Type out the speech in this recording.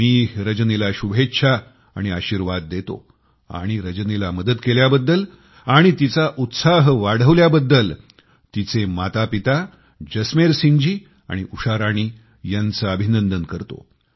मी रजनीला शुभेच्छा आणि आशीर्वाद देतो आणि रजनीला मदत करण्यास आणि तिचा उत्साह वाढविण्यासाठी तिचे मातापिता जसमेर सिंगजी आणि उषा राणी यांचे अभिनंदन करतो